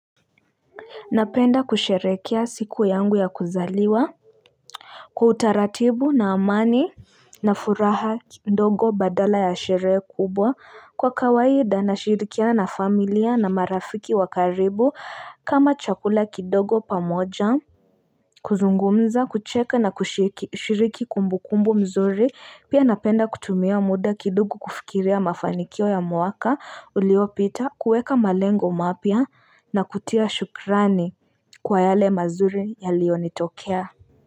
Napenda kusheherekea siku yangu ya kuzaliwa Kwa utaratibu na amani na furaha ndogo badala ya sherehe kubwa kwa kawaida na shirikiana na familia na marafiki wa karibu kama chakula kidogo pamoja kuzungumza kucheka na kushiriki kumbukumbu mzuri pia napenda kutumia muda kidogo kufikiria mafanikio ya mwaka uliopita kuweka malengo mapya na kutia shukrani kwa yale mazuri yaliyo nitokea.